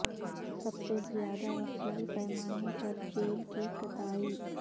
سب سے زیادہ وسیع پیمانے پر جیل کی کتائی